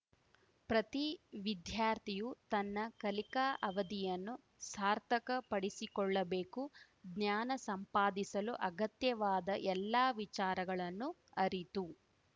ಪ್ರತಿ ವಿದ್ಯಾರ್ಥಿಯೂ ತನ್ನ ಕಲಿಕಾ ಅವಧಿಯನ್ನು ಸಾರ್ಥಕ ಪಡಿಸಿಕೊಳ್ಳಬೇಕು ಜ್ಞಾನ ಸಂಪಾದಿಸಲು ಅಗತ್ಯವಾದ ಎಲ್ಲಾ ವಿಚಾರಗಳನ್ನು ಅರಿತು